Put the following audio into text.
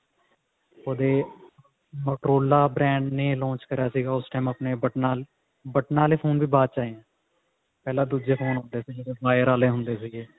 ਉਹਦੇ Motorola brand ਨੇ launch ਕਰਿਆ ਸੀ ਉਸ time ਬਟਨਾ ਬਟਨਾ ਵਾਲੇ phone ਵੀ ਬਾਅਦ ਚ ਆਏ ਨੇ ਪਹਿਲਾਂ ਦੁੱਜੇ phone ਹੁੰਦੇ ਸੀ ਜਿਹੜੇ ਵੀਰੇ ਆਲੇ ਹੁੰਦੇ ਸੀਗੇ